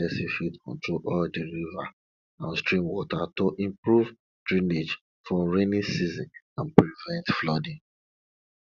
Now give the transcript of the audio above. person fit control all di river and stream water to improve drainage for rainy season and prevent flooding